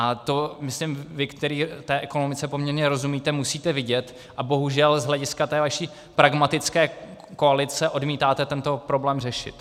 A to, myslím, vy, který té ekonomice poměrně rozumíte, musíte vidět a bohužel z hlediska té vaší pragmatické koalice odmítáte tento problém řešit.